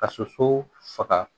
Ka soso faga